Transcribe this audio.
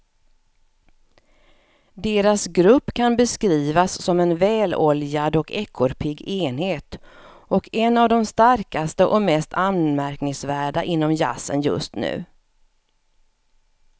Deras grupp kan beskrivas som en väloljad och ekorrpigg enhet och en av de starkaste och mest anmärkningsvärda inom jazzen just nu.